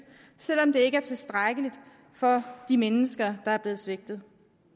selv om det ikke er tilstrækkeligt for de mennesker der er blevet svigtet